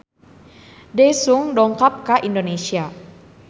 Daesung dongkap ka Indonesia